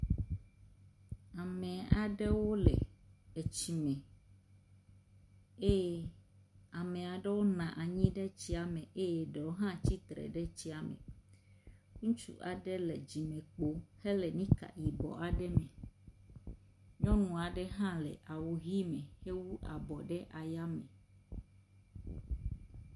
Ame aɖewo le etsi me eye ame ɖewo nɔ anyi ɖe tsia me eye ɖewo hã tsitre ɖe tsia me. Ŋutsu aɖe le dzimekpo hele nika yibɔ aɖe me. Nyɔnu aɖe hã le awu ʋi me hewu abɔ ɖe ayame.